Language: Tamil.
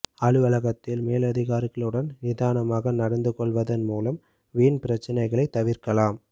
அலுவலகத்தில் மேலதிகாரிகளுடன் நிதானமாக நடந்து கொள்வதன் மூலம் வீண் பிரச்சனைகளை தவிர்க்கலாம்